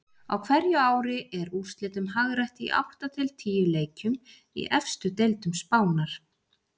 Á hverju ári er úrslitum hagrætt í átta til tíu leikjum í efstu deildum Spánar.